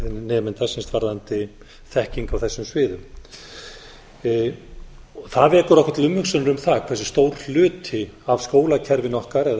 nemenda varðandi þekkingu á þessum sviðum það vekur okkur til umhugsunar um það hversu stór hluti af skólakerfinu okkar eða